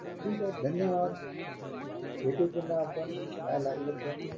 ठीके धन्यवाद भेटू पुन्हा आपण काय लागलं तर.